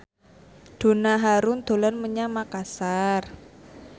Donna Harun dolan menyang Makasar